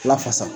Lafasa